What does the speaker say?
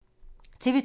TV 2